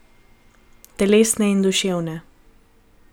Telesne in duševne.